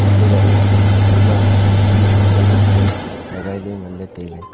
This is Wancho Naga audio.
untohley ema khisum pa zam nganley tailey.